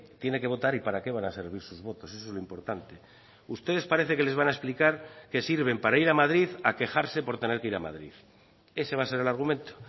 tiene que votar y para qué van a servir sus votos eso es lo importante ustedes parece que les van a explicar que sirven para ir a madrid a quejarse por tener que ir a madrid ese va a ser el argumento